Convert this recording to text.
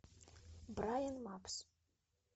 брайн мапс